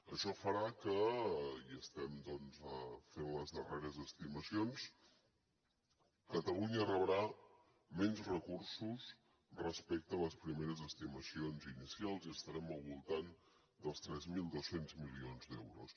això farà que i estem fent les darreres estimacions catalunya rebrà menys recursos respecte a les primeres estimacions inicials i estarem al voltant dels tres mil dos cents milions d’euros